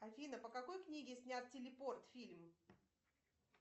афина по какой книге снят телепорт фильм